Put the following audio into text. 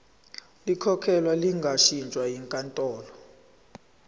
likhokhelwe lingashintshwa yinkantolo